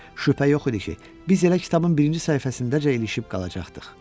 Şübhə yox idi ki, biz elə kitabın birinci səhifəsindəcə ilişib qalacaqdıq.